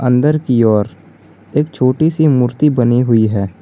अंदर की ओर एक छोटी सी मूर्ति बनी हुई है।